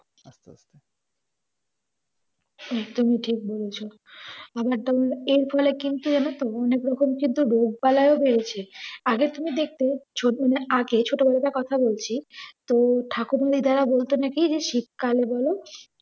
একদমই ঠিক বলেছ। এরফলে কিন্তু যেন তো অনেকরকম কিন্তু রোগ পালা ও বেরেছে। আগে তুমি দেখতে ছোঁ~ মানে আগে ছোটবেলাকার কথা বলছি তো থাকুন দিদারা বলতো নাকি শীতকালে বলে